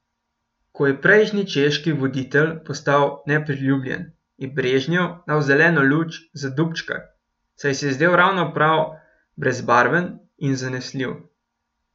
Ko je prejšnji češki voditelj postal nepriljubljen, je Brežnjev dal zeleno luč za Dubčka, saj se je zdel ravno prav brezbarven in zanesljiv.